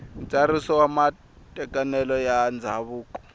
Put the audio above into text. ntsariso wa matekanelo ya ndzhavuko